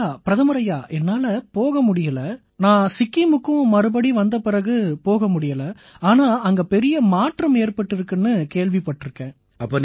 ஐயா பிரதமர் ஐயா என்னால போக முடியலை நான் சிக்கிமுக்கு வந்த பிறகு அங்க போக முடியலை ஆனா அங்க பெரிய மாற்றம் ஏற்பட்டிருக்குன்னு கேள்விப்பட்டிருக்கேன்